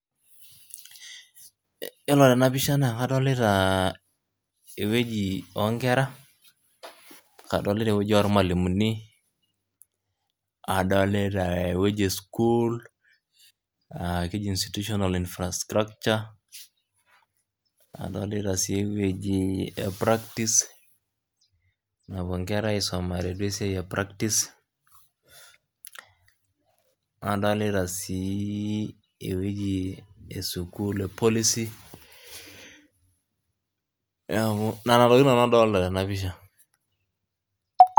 Yiolo tenapisha naa kadolita ewueji onkera , kadolita ewueji ormwalimuni , kadolita ewueji esukul aa keji institutional infrastructure , adolita si ewueji epractise napuo nkera aisumare , nadolita si ewueji esukul policy niaku nena tokitin nanu adolita.